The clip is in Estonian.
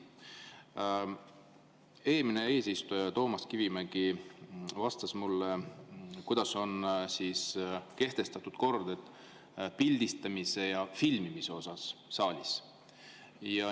Eelmine eesistuja Toomas Kivimägi vastas mulle, milline kord on kehtestatud pildistamise ja filmimise kohta siin saalis.